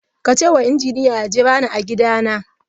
Ka ce ma injiniya ya jira ni a gidana.